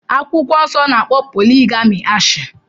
Bibulu n'akpo poligami ashi